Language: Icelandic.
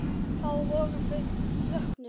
Þá voru þau vöknuð.